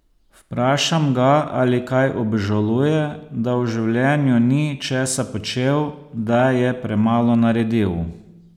Vprašam ga, ali kaj obžaluje, da v življenju ni česa počel, da je premalo naredil.